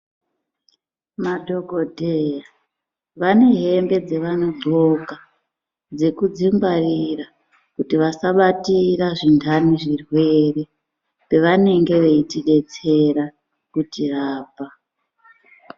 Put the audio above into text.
Madhokodheya vane hembe dzevanodxoka dzekudzingwarira kuti vasabatira zvindhani zvirwere pevanenge veitidetsera kutirapa.